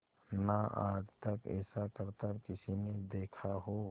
ना आज तक ऐसा करतब किसी ने देखा हो